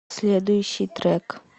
следующий трек